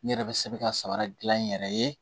N yɛrɛ bɛ se ka sabara dilan n yɛrɛ ye